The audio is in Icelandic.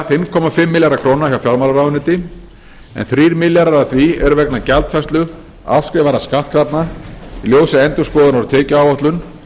fimm komma fimm milljarða króna hjá fjármálaráðuneyti en þrír milljarðar af því eru vegna gjaldfærslu afskrifaðra skattkrafna í ljósi endurskoðunar á tekjuáætlun